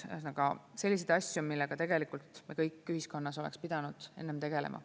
Ühesõnaga selliseid asju, millega tegelikult me kõik ühiskonnas oleks pidanud enne tegelema.